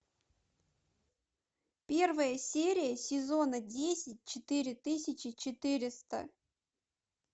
первая серия сезона десять четыре тысячи четыреста